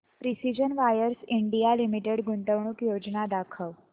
precision wires India limited गुंतवणूक योजना दाखव